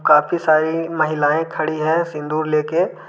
काफी सारी महिलाएं खड़ी है सिंदूर लेके।